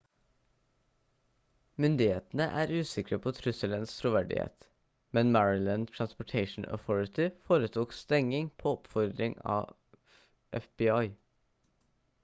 myndighetene er usikre på trusselens troverdighet men maryland transportation authority foretok stenging på oppfordring fra fbi